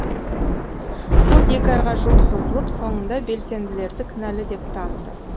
сот екі айға жуық созылып соңында белсенділерді кінәлі деп таныды